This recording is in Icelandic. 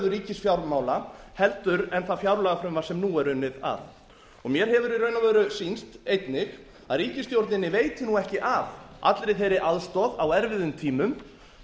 ríkisfjármála heldur en það fjárlagafrumvarp sem nú var unnið að mér hefur í raun á veru sýnst einnig að ríkisstjórninni veiti ekki af allri þeirri aðstoð á erfiðum tímum